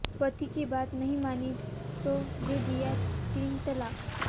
पति की बात नहीं मानी तो दे दिया तीन तलाक